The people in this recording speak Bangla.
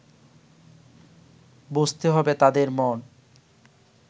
বুঝতে হবে তাঁদের মন